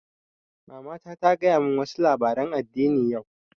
Mamata ta gaya mun wa su labaren addini yau